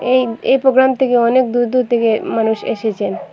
এই এ প্রোগ্রাম থেকে অনেক দূর দূর থেকে মানুষ এসেছেন।